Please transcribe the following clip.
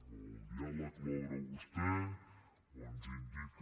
o el diàleg l’obre vostè o ens indica